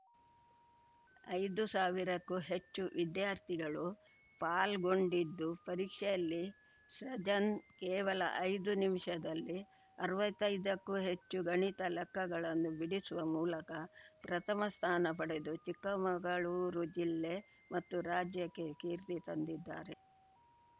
ಐದು ಸಾವಿರಕ್ಕೂ ಹೆಚ್ಚು ವಿದ್ಯಾರ್ಥಿಗಳು ಪಾಲ್ಗೊಂಡಿದ್ದು ಪರೀಕ್ಷೆಯಲ್ಲಿ ಸೃಜನ್‌ ಕೇವಲ ಐದು ನಿಮಿಷದಲ್ಲಿ ಅರ್ವತ್ತೈದಕ್ಕೂ ಹೆಚ್ಚು ಗಣಿತದ ಲೆಕ್ಕಗಳನ್ನು ಬಿಡಿಸುವ ಮೂಲಕ ಪ್ರಥಮ ಸ್ಥಾನ ಪಡೆದು ಚಿಕ್ಕಮಗಳೂರು ಜಿಲ್ಲೆ ಮತ್ತು ರಾಜ್ಯಕ್ಕೆ ಕೀರ್ತಿ ತಂದಿದ್ದಾರೆ